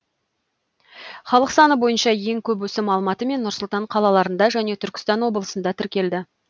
халық саны бойынша ең көп өсім алматы мен нұр сұлтан қалаларында және түркістан облысында тіркелді